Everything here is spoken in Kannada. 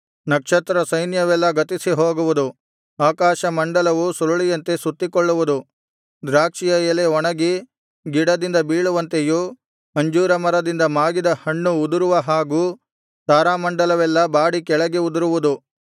ನಕ್ಷತ್ರ ಸೈನ್ಯವೆಲ್ಲಾ ಗತಿಸಿ ಹೋಗುವುದು ಆಕಾಶ ಮಂಡಲವು ಸುರಳಿಯಂತೆ ಸುತ್ತಿಕೊಳ್ಳುವುದು ದ್ರಾಕ್ಷಿಯ ಎಲೆ ಒಣಗಿ ಗಿಡದಿಂದ ಬೀಳುವಂತೆಯೂ ಅಂಜೂರ ಮರದಿಂದ ಮಾಗಿದ ಹಣ್ಣು ಉದುರುವ ಹಾಗೂ ತಾರಾಮಂಡಲವೆಲ್ಲಾ ಬಾಡಿ ಕೆಳಗೆ ಉದುರುವುದು